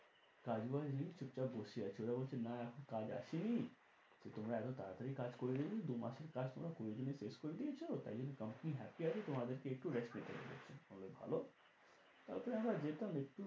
কাজ বাজ নেই চুপচাপ বসে আছে ওরা বলছে না এখন কাজ আসেনি তো তোমরা এত তার তারি কাজ করে দিয়েছো দু মাসের কাজ তোমরা কুড়ি দিনে শেষ করে দিয়েছো। তাই জন্য company happy আছে তোমাদেরকে একটু rest নিতে বলেছে। ভালো তারপরে আমরা যেতাম একটু